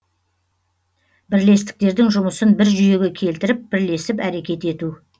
бірлестіктердің жұмысын бір жүйеге келтіріп бірлесіп әрекет ету